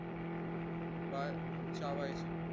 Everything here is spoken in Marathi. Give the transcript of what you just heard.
बाळ चावायचे